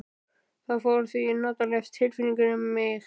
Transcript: Það fór því notaleg tilfinning um mig.